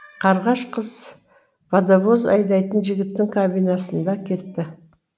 қарғаш қыз водовоз айдайтын жігіттің кабинасында кетті